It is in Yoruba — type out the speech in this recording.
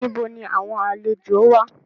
Níbo ni àwọn àlejòó wà?